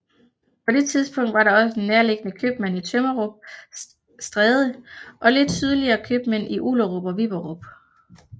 På det tidspunkt var der også en nærliggende købmand i Tømmerup Stræde og lidt sydligere købmænd i Ullerup og Viberup